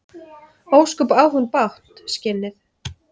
Ósköp á hún bágt, skinnið.